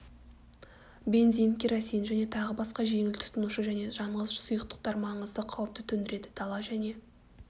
бензин керосин және тағы басқа жеңіл тұтанушы және жанғыш сұйықтықтар маңызды қауіпті төндіреді дала және